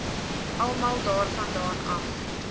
almal daarvandaan af